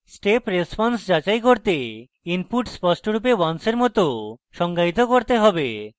step response যাচাই করতে input স্পষ্টরূপে ones for মত সংজ্ঞায়িত করতে have